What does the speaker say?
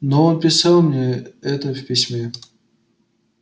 но он писал мне это в письме